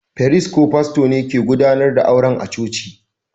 Firist ko fasto ne kan gudanar da auren a'coci.